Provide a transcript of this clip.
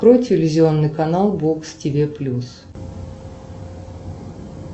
открой телевизионный канал бокс тиви плюс